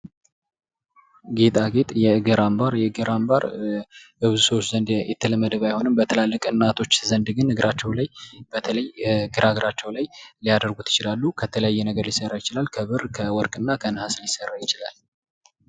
ጌጣጌጥ የእግር አምባር ። የእግር አምባር በብዙ ሰዎች ዘንድ የተለመደ ባይሆንም በትላልቅ እናቶች ዘንድ ግን እግራቸው ላይ በተለይ ግራ እግራቸው ላይ ሊያደርጉት ይችላሉ ። ከተለያየ ነገር ሊሰራ ይችላል ከብር ከወርቅ እና ከነሐስ ሊሰራ ይችላል ።